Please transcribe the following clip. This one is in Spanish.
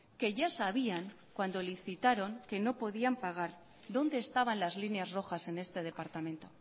que ya sabían cuando licitaron que no podían pagar dónde estaban las líneas rojas en este departamento